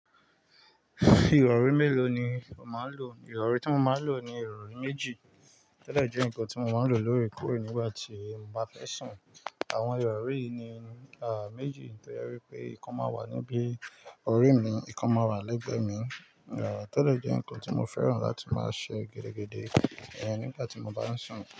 Ìrọrí mélòó ni o máa ń lò? Ìrọrí tí mo máa ń lò ni ìrọrí méjì. Tó dẹ̀ jẹ́ ǹkan tí mo máa ń lò lóòrèkóòrè nígbà tí mo bá fẹ́ sùn. Àwọn ìrọrí yìí ni, à, méjì. Nítorí pé ìkan máa wà níbí ọ̀rí mi, ìkan máa wà lẹ́gbẹ̀ẹ́ mi. À, tó dẹ̀ jẹ́ ǹkan tí mo fẹ́ràn láti máa ṣe gẹdẹgẹdẹ ẹ nígbà tí mo bá ń sùn.